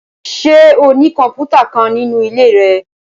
Ṣe o ni kọmputa kan ninu ile rẹ?